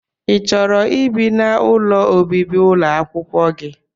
i chọrọ ibi n'ụlọ ọbibi ụlọakwụkwọ gị?